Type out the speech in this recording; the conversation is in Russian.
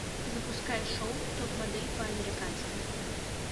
запускай шоу топ модель по американски